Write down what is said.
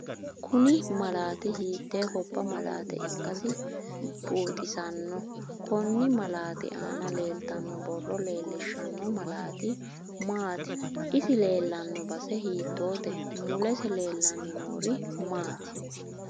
Kuni malaati hiiye gobba maleete ikkasi buuxisanno konni malaati anna leeltanno borro leelishanno malaati maati isi leelanno base hiitoote mulesi leelanni noori maati